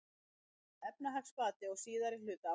Efnahagsbati á síðari hluta ársins